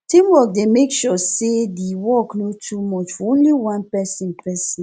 teamwork dey make sure say the work no too much for only one person person